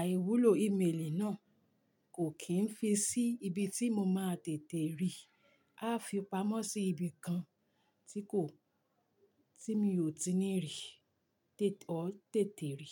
àìwúlò ímeèlì náà, kò kì í fi sí ibi tí mo máa tètè rí. A fi pamọ́ sí ibi kan tí kò, tí mi ò ti ní rí, tètè rí.